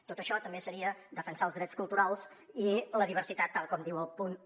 tot això també seria defensar els drets culturals i la diversitat tal com diu el punt un